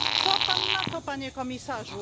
Co Pan na to, Panie Komisarzu?